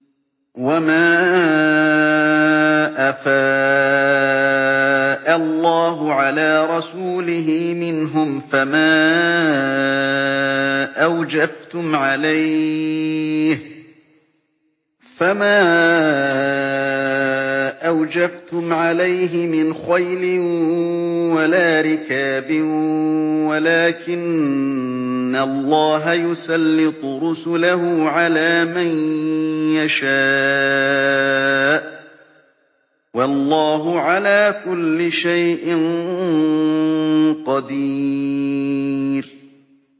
وَمَا أَفَاءَ اللَّهُ عَلَىٰ رَسُولِهِ مِنْهُمْ فَمَا أَوْجَفْتُمْ عَلَيْهِ مِنْ خَيْلٍ وَلَا رِكَابٍ وَلَٰكِنَّ اللَّهَ يُسَلِّطُ رُسُلَهُ عَلَىٰ مَن يَشَاءُ ۚ وَاللَّهُ عَلَىٰ كُلِّ شَيْءٍ قَدِيرٌ